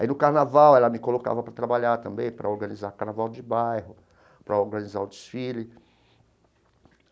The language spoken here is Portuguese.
Aí, no carnaval, ela me colocava para trabalhar também, para organizar carnaval de bairro, para organizar o desfile.